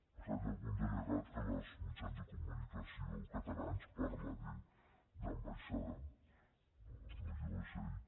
per cert hi ha algun delegat que als mitjans de comunicació catalans parla d’ ambaixada no jo és ell